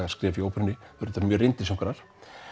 skref hjá óperunni mjög reyndir söngvarar